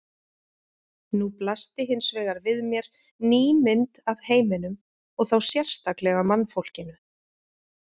Nú blasti hins vegar við mér ný mynd af heiminum og þá sérstaklega mannfólkinu.